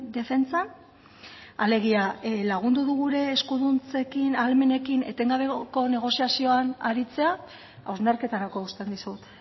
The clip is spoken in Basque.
defentsan alegia lagundu du gure eskuduntzekin ahalmenekin etengabeko negoziazioan aritzea hausnarketarako uzten dizut